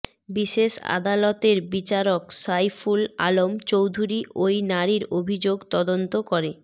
বিশেষ আদালতের বিচারক সাইফুল আলম চৌধুরী ওই নারীর অভিযোগ তদন্ত করে